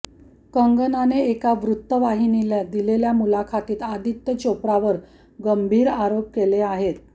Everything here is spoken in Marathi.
कंगनाने एका वृत्तवाहिनीला दिलेल्या मुलाखतीत आदित्य चोप्रावर गंभीर आरोप केले आहेत